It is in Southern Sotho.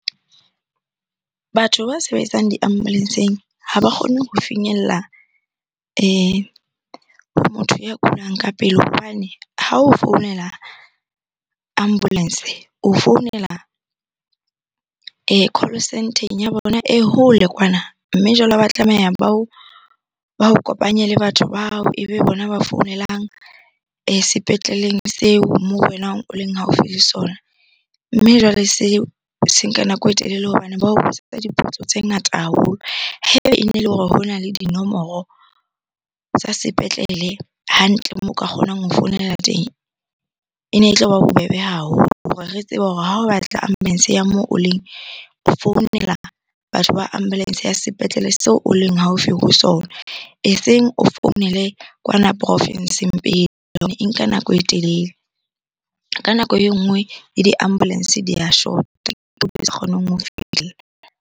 Batho ba sebetsang di-ambulance-eng ha ba kgonne ho finyella ho notho ya kulang ka pele hobane ha o founela ambulance, o founela call centre-eng ya bona e hole kwana. Mme jwale ha ba tlameha ba o kopanya le batho bao ebe bona ba founelang sepetleleng seo moo wena o leng haufi le sona. Mme jwale seo se nka nako e telele hobane ba ho dipotso tse ngata haholo. Ha ebe e ne le hore hona le dinomoro tsa sepetlele hantle moo o ka kgonang ho founela teng e ne e tloba bobebe haholo. Hore re tsebe hore ha o batla ambulance ya moo o leng, o founela batho ba ambulance ya sepetlele seo o leng haufi ho sona eseng o founele kwana province-eng pele e nka nako e telele. Ka nako e nngwe le di-ambulance di a shota sa kgoneng ho .